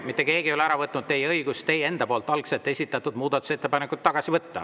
Mitte keegi ei ole ära võtnud teie õigust algselt teie enda esitatud muudatusettepanek tagasi võtta.